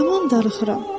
Yaman darıxıram.